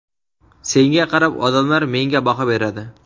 Senga qarab, odamlar menga baho beradi.